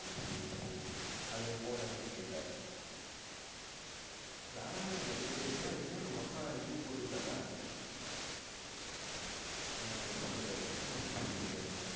ஓ சேரி சேரி அது உன் phone ல connect ஆயிட்டா வேணா வேணா நீ அப்டியே பேசு அது என்ன உங்க அப்ப இது போட்டு விட்டாரா ஆஹ் எப்போ போட்டு விட்டாரு எத்தன மாசத்துக்கு போட்டு விட்ருக்காரு